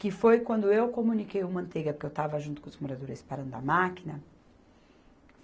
Que foi quando eu comuniquei o Manteiga, porque eu estava junto com os moradores parando a máquina.